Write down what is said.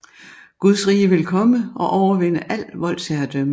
Guds rige vil komme og overvinde al voldsherredømme